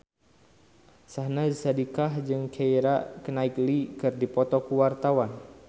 Syahnaz Sadiqah jeung Keira Knightley keur dipoto ku wartawan